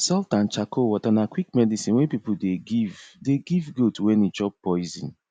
salt and charcoal water na quick medicine wey people dey give dey give goat when e chop poison